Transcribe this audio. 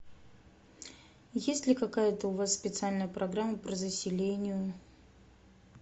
есть ли какая то у вас специальная программа по заселению